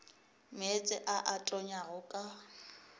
meetse a a tonyago ka